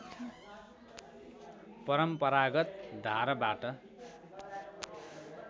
परम्परागत धारबाट